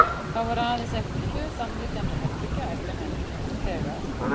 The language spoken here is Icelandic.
Þá voru aðeins eftir tvö samliggjandi herbergi á efri hæðinni og þegar